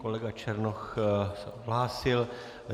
Kolega Černoch se odhlásil.